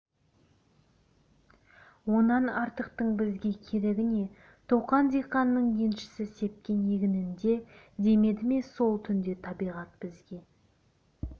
онан артықтың бізге керегі не тоқан диқанның еншісі сепкен егінінде демеді ме сол түнді табиғат бізге